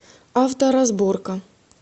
авторазборка